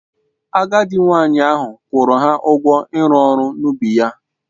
Agadị nwanyị ahụ kwuru ha ugwọ ịru ọrụ n'ubi ya